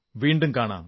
വീണ്ടും കാണാം